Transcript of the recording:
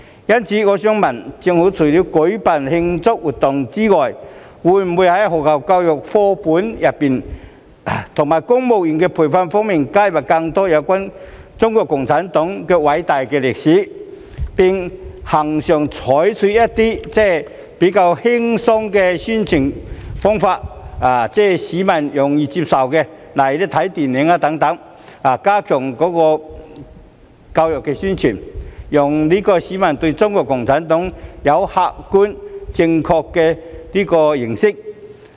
因此，我想問局長，政府除了舉辦慶祝活動外，會否在學校課本和公務員培訓加入更多有關中國共產黨的偉大歷史，並恆常地採用較易為市民接受的輕鬆宣傳方法來加強教育宣傳，讓市民對中國共產黨有客觀正確的認識？